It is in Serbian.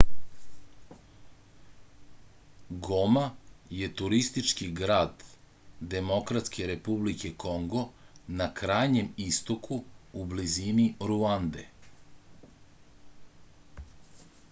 goma je turistički grad demokratske republike kongo na krajnjem istoku u blizini ruande